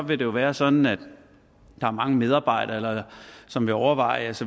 vil det jo være sådan at der er mange medarbejdere som vil overveje